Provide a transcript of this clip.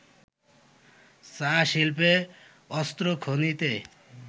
চা-শিল্পে, অস্ত্র খনিতে